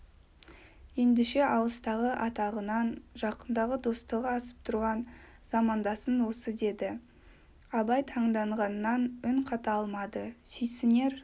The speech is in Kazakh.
ендеше алыстағы атағынан жақындағы достығы асып тұрған замандасың осы деді абай таңданғаннан үн қата алмады сүйсінер